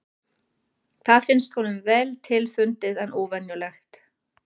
Það finnst honum vel til fundið en óvenjulegt.